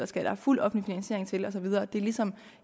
skal være fuld offentlig finansiering til og så videre det er ligesom